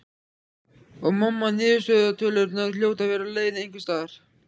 Og mamma niðurstöðutölurnar hljóta að vera á leiðinni einhvers staðar.